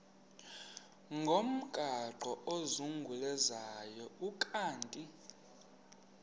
ngomgaqo ozungulezayo ukanti